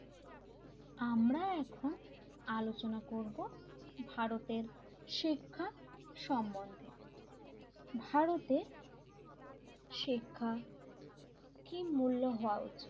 আমরা এখন আলোচনা করব ভারতের শিক্ষা সম্বন্ধে ভারতের শিক্ষা কি মূল্য হওয়া উচিত l